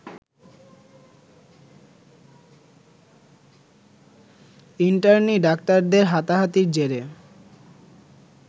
internee ডাক্তারদের হাতাহাতির জেরে